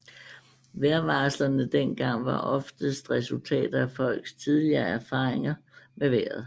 Vejrvarslerne dengang var oftest resultater af folks tidligere erfaringer med vejret